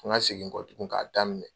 Ko n ka segin kɔ tuguni ka daminɛ.